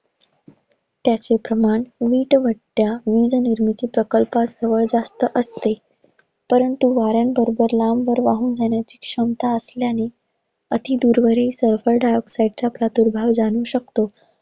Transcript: त्याचे प्रमाण वीटभट्ट्या व वीज निर्मिती प्रकल्प जास्त असते. परंतु वाऱ्यांबरोबर लांबवर वाहून जाण्याची क्षमता असल्याने. अति दूरवरील sulphur dioxide च्या प्रतुर्भव जाणू शकतो.